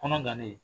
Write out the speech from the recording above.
Kɔnɔ gannen